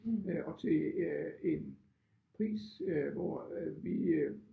Øh og til øh en pris øh hvor øh vi øh